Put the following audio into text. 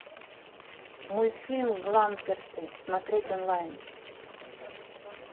мультфильм гламперсы смотреть онлайн